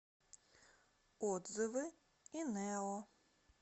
отзывы инео